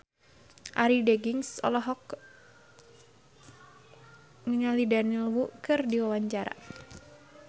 Arie Daginks olohok ningali Daniel Wu keur diwawancara